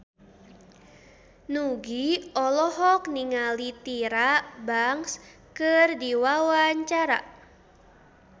Nugie olohok ningali Tyra Banks keur diwawancara